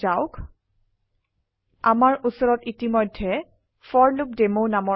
লৈ যাওক আমাৰ উচৰত ইতিমধেয় ফৰলুপডেমো